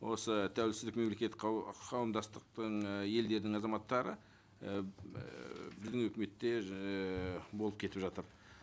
осы тәуелсіздік мемлекет қауымдастықтың ы елдерінің азаматтары ііі біздің үкіметте ыыы болып кетіп жатыр